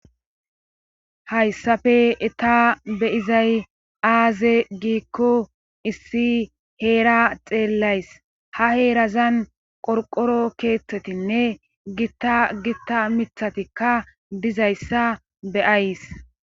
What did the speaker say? Hayssafe eta beyizay aaze giikko issi heera xeellays ha heerazan qorqoro keeththetinne gitta gitta mithatikka dizayssa beyays.